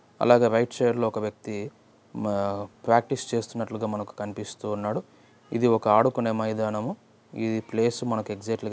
అలాగే right side లో ఒక వ్యక్తి ప్రాక్టీస్ చేస్తున్నట్లుగా మనకు కనిపిస్తున్నాడు. ఇది ఒక ఆడుకునే మైదానం. ఈ ప్లేస్ ఎక్సైట్ గా మనకు --